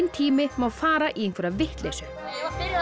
tími má fara í einhverja vitleysu byrja